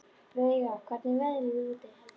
Veiga, hvernig er veðrið úti?